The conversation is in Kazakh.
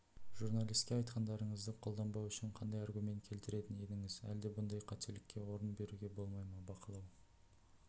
журналиске айтқандарыңызды қолданбауы үшін қандай аргумент келтіретін едіңіз әлде бұндай қателікке орын беруге болмай ма бақылау